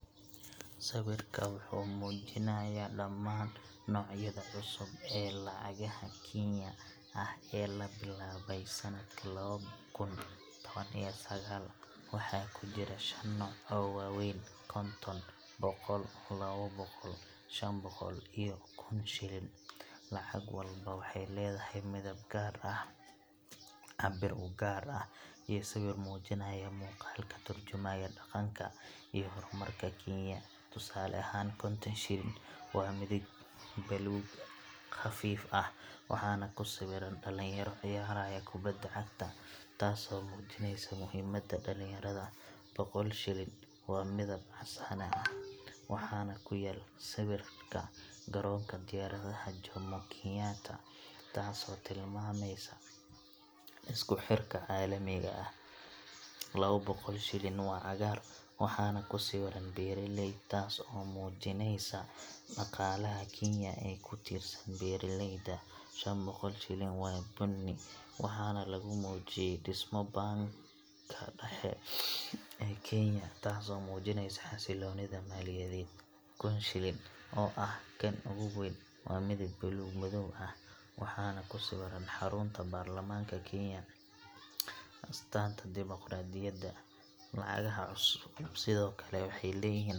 Sawirka wuxuu muujinayaa dhammaan noocyada cusub ee lacagaha shilin Kenyan ah ee la bilaabay sanadka lawada kun sagal iyo tawankii . Waxaa ku jira shan nooc oo waaweyn: konton, boqol, lawa boqol, shan boqol, iyo kun shilin. Lacag walba waxay leedahay midab gaar ah, cabbir u gaar ah, iyo sawir muujinaya muuqaal ka tarjumaya dhaqanka iyo horumarka Kenya. Tusaale ahaan, konton shilin waa midab buluug khafiif ah, waxaana ku sawiran dhalinyaro ciyaaraya kubadda cagta – taasoo muujinaysa muhiimadda dhalinyarada. boqol shilin waa midab casaane ah, waxaana ku yaal sawirka garoonka diyaaradaha Jomo Kenyatta, taasoo tilmaamaysa isku xirka caalamiga ah. lawa boqol shilin waa cagaar, waxaana ku sawiran beeraley, taas oo muujinaysa dhaqaalaha Kenya ee ku tiirsan beeraleyda. shan boqol shilin waa bunni, waxaana lagu muujiyay dhismo baanka dhexe ee Kenya, taasoo muujinaysa xasilloonida maaliyadeed. kun shilin, oo ah kan ugu weyn, waa midab buluug madow ah, waxaana ku sawiran xarunta baarlamaanka Kenya – astaanta dimuqraadiyadda. Lacagaha cusub sidoo kale waxay leeyihiin.